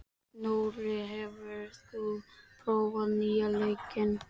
Nóri, hefur þú prófað nýja leikinn?